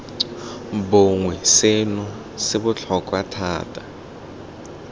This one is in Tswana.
bongwe seno se botlhokwa thata